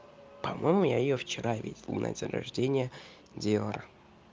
по-моему я её вчера видел на день рождении диора